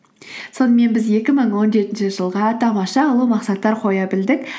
сонымен біз екі мың он жетінші жылға тамаша ұлы мақсаттар қоя білдік